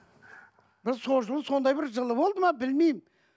ы сол жылы сондай бір жылы болды ма білмеймін